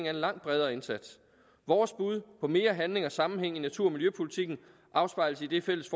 en langt bredere indsats vores bud på mere handling og sammenhæng i natur og miljøpolitikken afspejles i det fælles